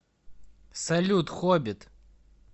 салют хоббит